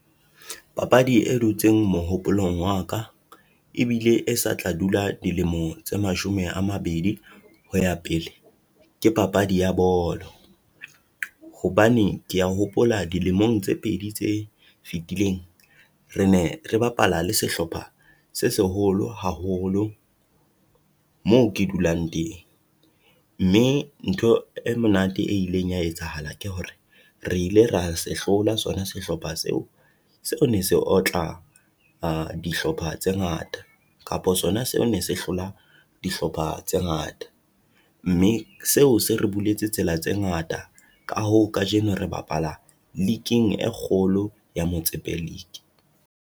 Papadi e dutseng mohopolong wa ka, ebile e sa tla dula dilemo tse mashome a mabedi ho ya pele ke papadi ya bolo, hobane ke ya hopola dilemong tse pedi tse fitileng, re ne re bapala le sehlopha se seholo haholo moo ke dulang teng. Mme ntho e monate e ileng ya etsahala akere hore re ile ra sehlola sona sehlopha seo, seo ne se otla dihlopha tse ngata, kapo sona seo ne se hlola dihlopha tse ngata, mme seo se re buletse tsela tse ngata. Ka hoo kajeno re bapala liking e kgolo ya Motsepe League.